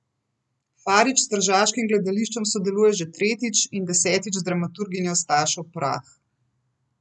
Farič s tržaškim gledališčem sodeluje že tretjič in desetič z dramaturginjo Stašo Prah.